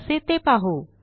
कसे ते पाहू